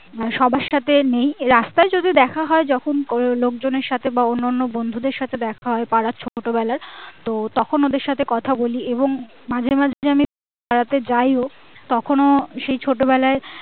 সবার সাথে নেই রাস্তায় যদিও দেখা হয় যখন কোনো লোকজনের সাথে বা অন্যান্য বন্ধুদের সাথে দেখা হয় পাড়ার ছোট বেলার তো তখন ওদের সাথে কথা বলি এবং মাঝে মাঝে আমি পাড়াতে যাইও তখনও সেই ছোট বেলায়